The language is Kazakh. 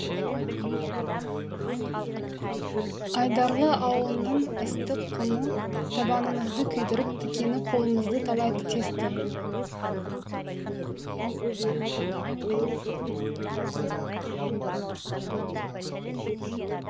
айдарлы ауылының ыстық құмы табанымызды күйдіріп тікені қолымызды талай тесті